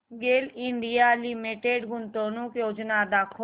गेल India Limited गुंतवणूक योजना दाखव